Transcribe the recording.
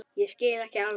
Ég skil ekki alveg